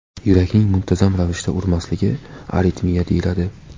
Yurakning muntazam ravishda urmasligi aritmiya deyiladi.